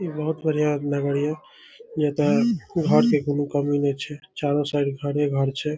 ई बहुत बढ़िया लगा है ये। ये त कुहा से छे चारों साइड भारे भार छे।